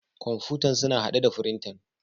Kamfutan suna hadde da frintan.